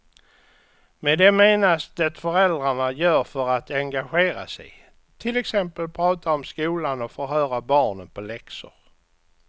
Med det menas det föräldrarna gör för att engagera sig, till exempel prata om skolan och förhöra barnen på läxor.